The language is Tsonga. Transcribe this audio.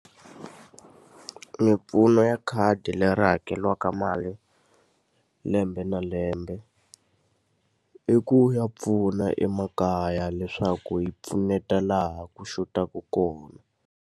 Mimpfuno ya khadi leri hakeriwaka mali lembe na lembe, i ku ya pfuna emakaya leswaku yi pfuneta laha ku xotaka kona.